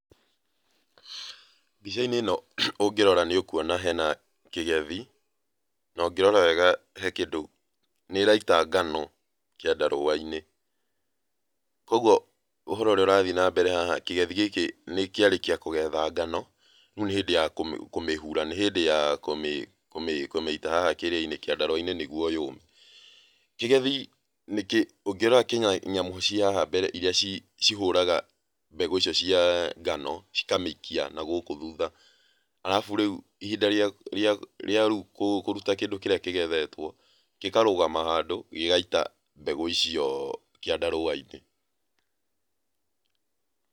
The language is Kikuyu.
Mbica-inĩ ino ũngĩrora nĩ ũkuona hena kĩgethi, na ũngĩrora wega hena kĩndũ, nĩ ĩraita ngano kĩandarũa-inĩ, koguo ũhoro ũria ũrathiĩ na mbere haha, kĩgethi gĩkĩ kĩarĩkia kũgetha ngano, rĩu nĩ hĩndĩ ya kũmĩhura, nĩ hĩndĩ ya kũmĩita haha kĩrĩa-inĩ kĩandarũa-inĩ nĩguo yũme. Kĩgethi ũngĩrora nyamũ cĩa haha mbere iria cihũraga mbegũ icio cia ngano cikamĩikia nagũkũ thũtha, arabu rĩũ, ihinda rĩa, ria riu, kũruta kĩrĩa kĩgethetwo gĩkarũgama handũ gĩgaita mbegũ icio kĩandarũa-inĩ.